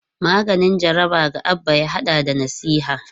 Maganin jaraba ga Abba ya hada da nasiha.